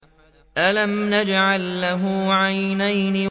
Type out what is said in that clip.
أَلَمْ نَجْعَل لَّهُ عَيْنَيْنِ